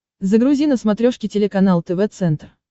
загрузи на смотрешке телеканал тв центр